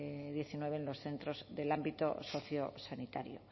diecinueve en los centros del ámbito sociosanitario